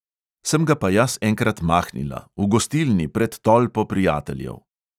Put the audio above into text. Sem ga pa jaz enkrat mahnila – v gostilni pred tolpo prijateljev.